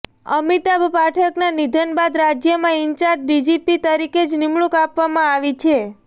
અમિતાભ પાઠકના નિધન બાદ રાજ્યમાં ઇન્ચાર્જ ડીજીપી તરીકે જ નિમણૂંક આપવામાં આવી છે